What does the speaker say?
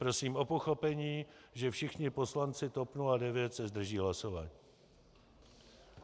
Prosím o pochopení, že všichni poslanci TOP 09 se zdrží hlasování.